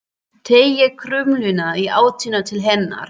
Teygir krumlurnar í áttina til hennar.